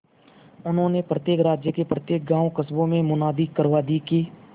उन्होंने प्रत्येक राज्य के प्रत्येक गांवकस्बों में मुनादी करवा दी कि